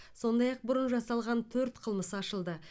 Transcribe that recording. сондай ақ бұрын жасалған төрт қылмыс ашылды